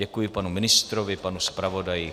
Děkuji panu ministrovi, panu zpravodaji.